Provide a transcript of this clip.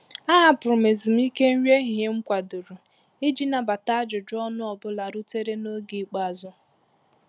A hapụrụ m ezùmíkè nri ehihie m kwadoro iji nabata ajụjụ ọnụ ọ bụla rutere n’oge ikpeazụ.